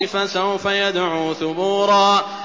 فَسَوْفَ يَدْعُو ثُبُورًا